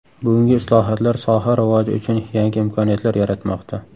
Bugungi islohotlar soha rivoji uchun yangi imkoniyatlar yaratmoqda.